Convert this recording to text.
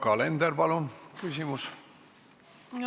Yoko Alender, palun küsimus!